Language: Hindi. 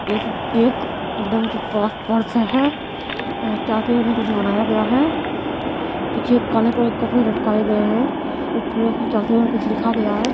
एक एक मैडम के पास पर्स है यहाँ कुछ बनाया गया है पीछे काले कलर के कपड़े लटकाए गए है ऊपर कुछ लिखा गया है।